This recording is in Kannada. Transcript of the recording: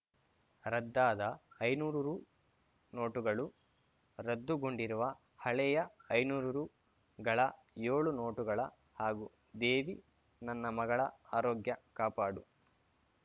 ರದ್ದಾದ ಐನೂರು ರು ನೋಟುಗಳು ರದ್ದುಗೊಂಡಿರುವ ಹಳೆಯ ಐನೂರು ರುಗಳ ಏಳು ನೋಟುಗಳ ಹಾಗೂ ದೇವಿ ನನ್ನ ಮಗಳ ಆರೋಗ್ಯ ಕಾಪಾಡು